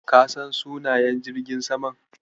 Ka san sunan jirgin saman?